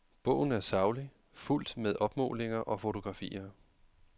Bogen er saglig, fuldt med opmålinger og fotografier.